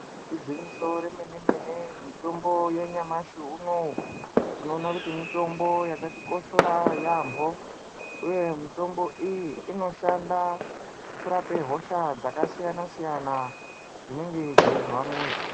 Igwinyiso remene-mene mitombo yanyamashi unowu tinoona kuti mitombo yakatikoshera yaambo. Uye mitombo iyi inoshande kurape hosha dzakasiyana-siyana dzinenge dzeizwa muntu.